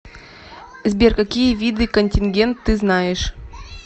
сбер какие виды контингент ты знаешь